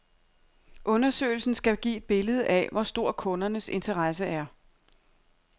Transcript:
Undersøgelsen skal give et billede af, hvor stor kundernes interesse er.